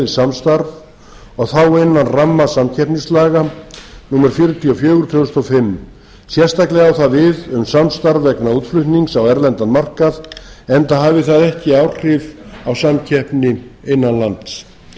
samstarf og þá innan ramma samkeppnislaga númer fjörutíu og fjögur tvö þúsund og fimm sérstaklega á það við um samstarf vegna útflutnings á erlendan markað enda hafi það ekki áhrif á samkeppni innan lands í